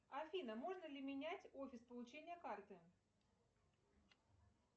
афина можно ли менять офис получения карты